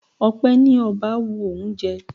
Ọpẹ ní ọba wu òun jẹ.